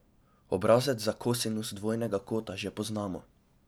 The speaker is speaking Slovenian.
Obrazec za kosinus dvojnega kota že poznamo.